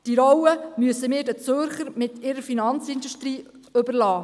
Diese Rolle müssen wir den Zürchern mit ihrer Finanzindustrie überlassen.